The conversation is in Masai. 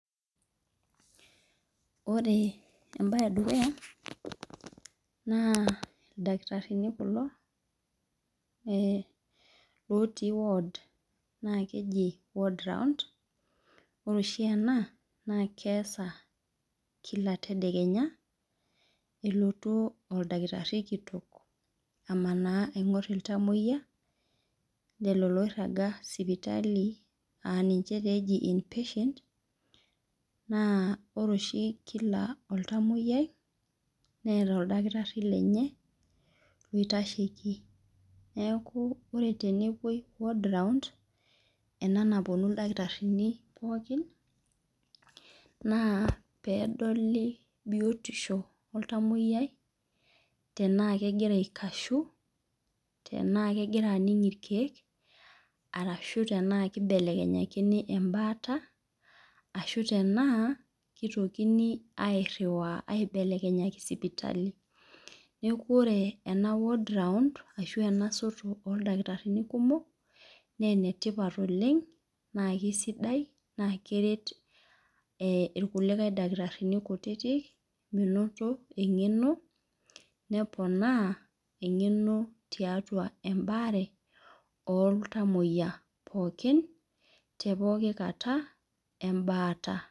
Ore embae edukuya na ildakitarini kulo otii wod ore oshi ena na keasa kila tedekenya elotu oldakitari kitok alotu aingor ltamoyia lolo oiraga sipitali aninche eji impatient na ore oshi kila oltamoyiai neeta oldakitari lenye oitasheki neaku ore enepoi ema nappnu ldakitarini pooki pedoli biotisho oltamoyiai tena kegira aikashu tanaa kegira aning irkiek anaa kibelekenyakini enduata tanaa kitokini airiwaa mibelekenya sipitali neaku ore ena ward round ashu enasoto oldakitarini kumok na enetipat oleng keret kulo dakitarini kutitik menoto engeno neponaa engeno tiatua embaare oltamoyia pooki tepokki kata embaata.